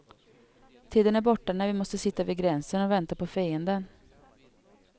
Tiden är borta när vi måste sitta vid gränsen och vänta på fienden.